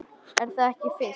Er það ekki Fis?